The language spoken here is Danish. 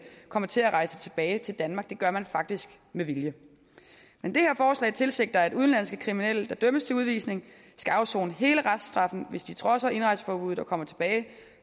kommer til at rejse tilbage til danmark det gør man faktisk med vilje men det her forslag tilsigter at udenlandske kriminelle der dømmes til udvisning skal afsone hele reststraffen hvis de trodser indrejseforbuddet og kommer tilbage